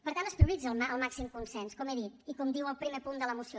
per tant es prioritza el màxim consens com he dit i com diu el primer punt de la moció